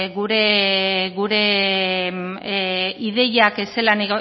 gure ideiak zelan